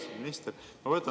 Austatud minister!